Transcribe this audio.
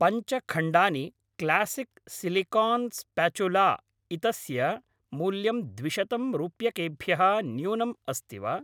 पञ्च खण्डानि classic silicone spatula इतस्य मूल्यं द्विशतं रूप्यकेभ्यः न्यूनम् अस्ति वा?